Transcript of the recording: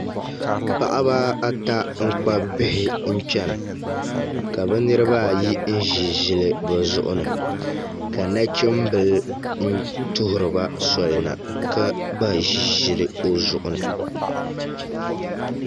Paɣaba ata n kpabi bihi n chɛna ka bi niraba ayi ʒi ʒili bi zuɣu ni ka nachimbili tuhuriba soli na ka gba ʒi ʒili o zuɣu ni